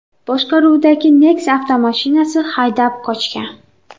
boshqaruvidagi Nexia avtomashinasini haydab qochgan.